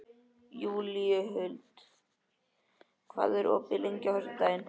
Júlíhuld, hvað er opið lengi á föstudaginn?